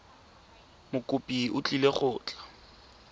mokopi o tlile go tla